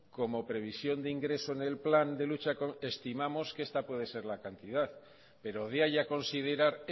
como previsión de ingreso en el plan de lucha contra el fraude estimamos que esta puede ser la cantidad pero de ahí a considerar